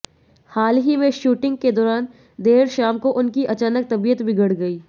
हाल ही में शूटिंग के दौरान देर शाम को उनकी अचानक तबीयत बिगड़ गई